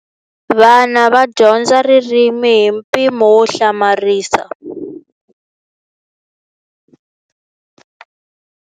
Vana va dyondza ririmi hi mpimo wo hlamarisa.